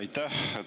Aitäh!